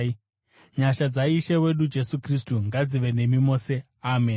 Nyasha dzaIshe wedu Jesu Kristu ngadzive nemi mose. Ameni.